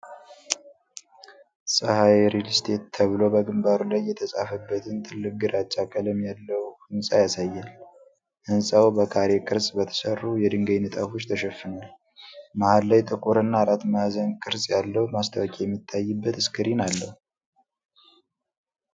'ፀሀይ ሪል እስቴት' ተብሎ በግንባሩ ላይ የተፃፈበትን ትልቅ ግራጫ ቀለም ያለው ሕንፃ ያሳያል። ሕንፃው በካሬ ቅርፅ በተሠሩ የድንጋይ ንጣፎች ተሸፍኗል፤ መሃል ላይ ጥቁር እና አራት ማዕዘን ቅርጽ ያለው ማስታወቂያ የሚታይበት ስክሪን አለው።